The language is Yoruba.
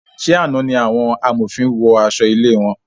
Ṣe àna ní àwọn amòfin wọ aṣọ ilé wọn?